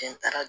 Jɛn taara